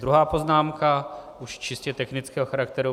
Druhá poznámka, už čistě technického charakteru.